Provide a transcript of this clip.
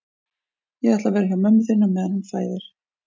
Ég ætla að vera hjá mömmu þinni á meðan hún fæðir